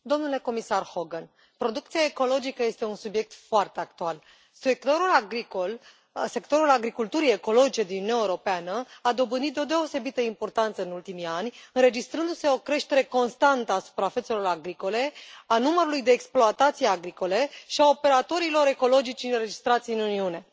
Domnule președinte, domnule comisar Hogan, producția ecologică este un subiect foarte actual. Sectorul agriculturii ecologice din Uniunea Europeană a dobândit o deosebită importanță în ultimii ani, înregistrându se o creștere constantă a suprafețelor agricole, a numărului de exploatații agricole și a operatorilor ecologici înregistrați în Uniune.